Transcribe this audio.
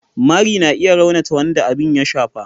mari na iya raunata wanda abin ya shafa.